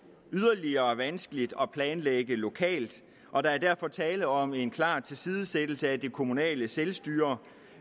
yderligere vanskeligt at planlægge lokalt og der er derfor tale om en klar tilsidesættelse af det kommunale selvstyre